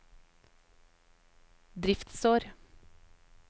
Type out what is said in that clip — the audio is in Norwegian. driftsår